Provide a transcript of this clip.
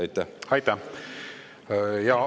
Aitäh!